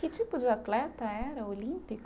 Que tipo de atleta era, olímpico?